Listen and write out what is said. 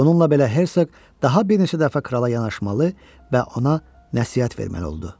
Bununla belə Hersoq daha bir neçə dəfə krala yanaşmalı və ona nəsihət verməli oldu.